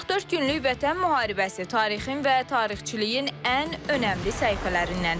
44 günlük Vətən müharibəsi tarixin və tarixçiliyin ən önəmli səhifələrindəndir.